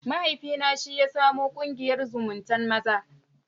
Mahaifina shi ya samo ƙungiyar zumuntan maza.